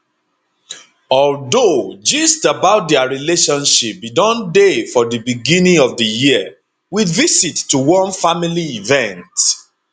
although gist about dia relationship bin don dey for di beginning of di year with visit to one family event